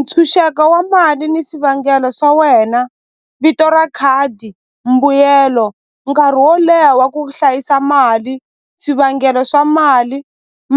Ntshunxeko wa mali ni swivangelo swa wena vito ra khadi mbuyelo nkarhi wo leha wa ku hlayisa mali swivangelo swa mali